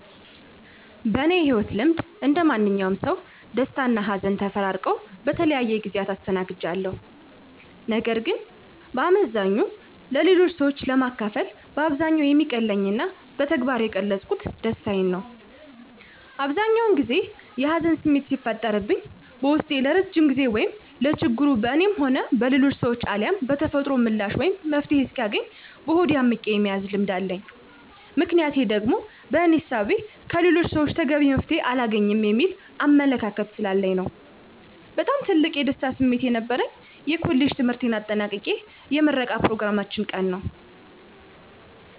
በእኔ የህይወት ልምድ እንደማንኛውም ሰው ደስታና ሀዘን ተፈራርቀው በተለያዩ ጊዜያት አስተናግጃቸዋለሁ። ነገር ግን በአመዛኙ ለሌሎች ሰዎች ለማካፈል በአብዛኛው የሚቀለኝና በተግባር የገለፅኩት ደስታዬን ነው። አብዛኛውን ጊዜ የሀዘን ስሜት ሲፈጠርብኝ በውስጤ ለረዥም ጊዜ ወይም ለችግሩ በእኔም ሆነ በሌሎች ሰዎች አልያም በተፈጥሮ ምላሽ ወይም መፍትሔ እስኪያገኝ በሆዴ አምቄ የመያዝ ልምድ አለኝ። ምክንያቴ ደግሞ በእኔ እሳቤ ከሌሎች ሰወች ተገቢ መፍትሔ አላገኝም የሚል አመለካከት ስላለኝ ነው። በጣም ትልቅ የደስታ ስሜት የነበረኝ የኮሌጅ ትምህርቴን አጠናቅቄ የምረቃ ኘሮግራማችን ቀን ነዉ።